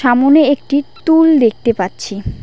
সামোনে একটি টুল দেখতে পাচ্ছি।